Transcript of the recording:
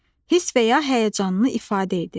Hiss və ya həyəcanını ifadə edir.